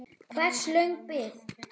Hversu löng bið?